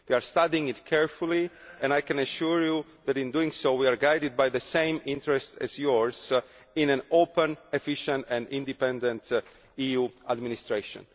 it. We are studying it carefully, and I can assure you that in doing so we are guided by the same interests as yours in an open, efficient and independent EU administration.